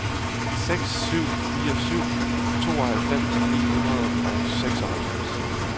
seks syv fire syv tooghalvfems ni hundrede og seksoghalvfems